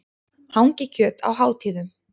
Hangikjöt á hátíðum.